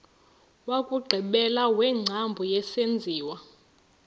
wokugqibela wengcambu yesenziwa